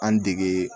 An dege